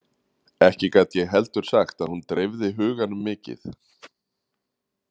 Ekki gat ég heldur sagt að hún dreifði huganum mikið.